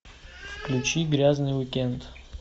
включи грязный уикенд